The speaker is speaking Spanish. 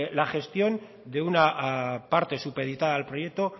la gestión de una parte supeditada al proyecto